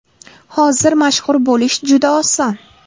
Hozir mashhur bo‘lish juda oson.